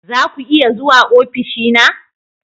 Za ku iya zuwa ofishina?